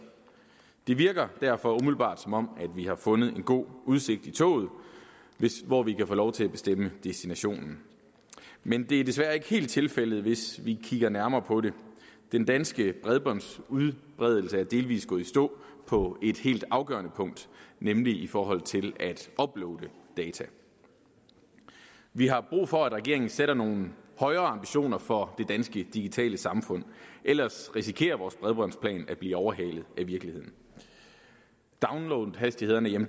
det virker derfor umiddelbart som om vi har fundet en god udsigt i toget hvor vi kan få lov til at bestemme destinationen men det er desværre ikke helt tilfældet hvis vi kigger nærmere på det den danske bredbåndsudbredelse er delvis gået i stå på et helt afgørende punkt nemlig i forhold til at uploade data vi har brug for at regeringen sætter nogle højere ambitioner for det danske digitale samfund ellers risikerer vores bredbåndsplan at blive overhalet af virkeligheden downloadhastighederne er